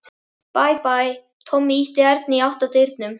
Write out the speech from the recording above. Bæ, bæ, Tommi ýtti Erni í átt að útidyrunum.